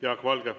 Jaak Valge.